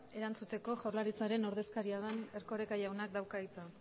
erantzuteko jaurlaritzaren ordezkaria den erkoreka jaunak dauka hitza